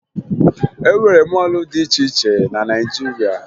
E nwere mọọlụ dị iche iche na Naịjirịa